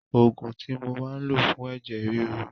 Òògùn tí mo máa ń lò fún ẹ̀jẹ̀ ríru.